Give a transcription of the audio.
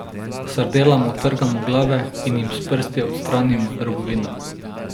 Sardelam odtrgamo glave in jim s prsti odstranimo drobovino.